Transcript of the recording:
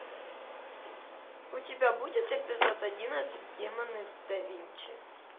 у тебя будет эпизод одиннадцать демоны да винчи